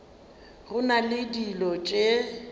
go na le dilo tše